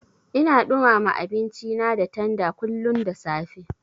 Ina ɗumama abinci da tanda kullun da safe.